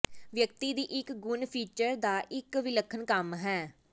ਵਿਅਕਤੀ ਦੀ ਇੱਕ ਗੁਣ ਫੀਚਰ ਦਾ ਇੱਕ ਵਿਲੱਖਣ ਕੰਮ ਹੈ